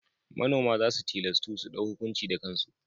Manoma za su tilastu su ɗau hukunci da kansu.